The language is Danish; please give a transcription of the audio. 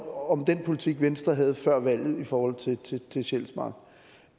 om den politik venstre havde før valget i forhold til sjælsmark